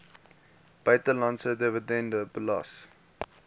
buitelandse dividende belas